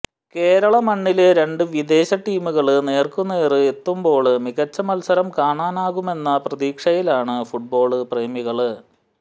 കേരള മണ്ണില് രണ്ടു വിദേശ ടീമുകള് നേര്ക്കുനേര് എത്തുമ്പോള് മികച്ച മത്സരം കാണാനാകുമെന്ന പ്രതീക്ഷയിലാണ് ഫുട്ബാള് പ്രേമികള്